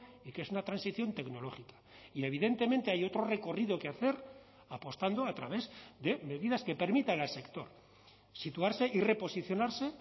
y que es una transición tecnológica y evidentemente hay otro recorrido que hacer apostando a través de medidas que permitan al sector situarse y reposicionarse